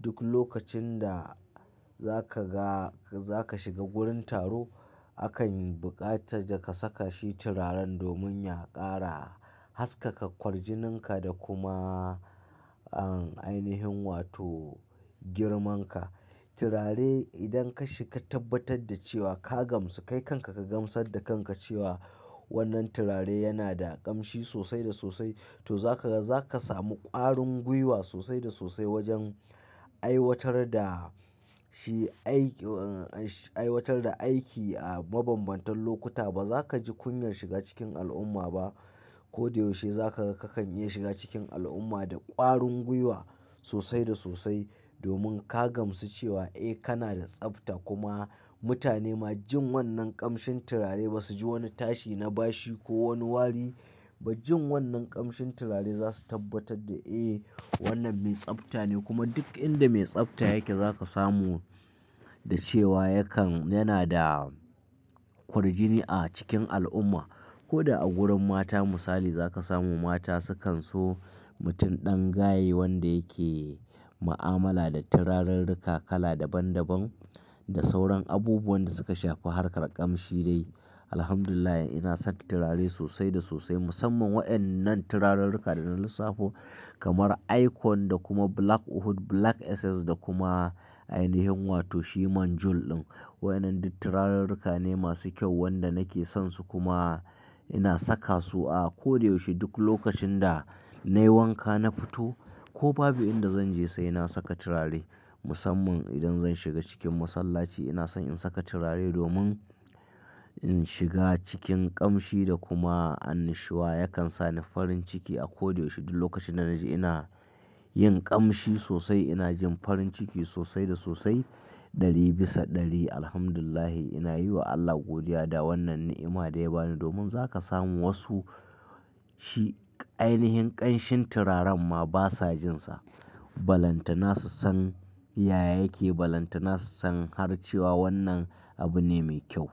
duk lokacin da za ka ga-- za ka shiga wurin taro akan buƙata da ka saka shi turaren domin ya ƙara haskaka ƙwarjininka da kuma ainihin wato girman ka. Turare idan ka shi ka tabbatar da cewa ka gamsu, kai kanka ka gamsar da kanka cewa wannan turare yana da ƙamshi sosai da sosai to za ka ga za ka samu ƙwarin guiwa sosai da sosai wajen aiwatar da shi aiki-- aiwatar da aiki a mabambantan lokuta. Ba za ka ji kunyar shiga cikin al'umma ba. Ko da yaushe za ka ga kakan iya shiga cikin al'umma da ƙwarin gwiwa sosai da sosai domin ka gamsu cewa eh kana da tsafta kuma mutane ma jin wannan ƙamshin turare ba su ji wani tashi na bashi ko wani wari. Ba jin wannan ƙamshin turare za su tabbatar da eh wannan mai tsafta ne kuma duk inda mai tsabta yake za ka samu da cewa yakan-- yana da ƙwarjini a cikin al'umma. Ko da a wurin mata misali za ka samu mata sukan so mutum ɗan gaye wanda yake mu'amala da turarurruka kala daban daban da sauran abubuwan da suka shafi harkar ƙamshi dai. Alhamdulillah ina son turare sosai da sosai musamman wa'yannan turarurruka da na lissafo kamar Icon da kuma Black Oud, Black SS da kuma ainihin wato shi Manjul ɗin. Wa'yannan duk turarurruka ne masu kyau wanda nake son su kuma ina saka su a ko da yaushe. Duk lokacin da nayi wanka na fito ko babu inda zan je sai na saka turare musamman idan zan shiga cikin masallaci ina son in saka turare domin in shiga cikin ƙamshi da kuma annushuwa yakan sani farin ciki a ko da yaushe. Duk lokacin da naji ina yin ƙamshi sosai ina jin farin ciki sosai da sosai ɗari bisa ɗari. Alhamdulillah ina yi wa Allah godiya da wannan ni'ima da ya bani domin za ka samu wasu shi ainihin ƙamshin turaren ma basa jin sa. Balanta nasu san yaya yake, balantana su san har cewa wannan abu ne mai kyau.